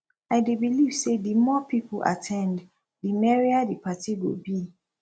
i dey believe say di more people at ten d di merrier di party go be